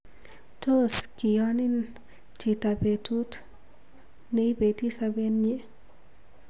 Tos kiyon hin chito petu neipeti sopet nyi?